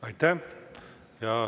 Aitäh!